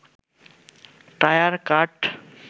tyre, কাঠ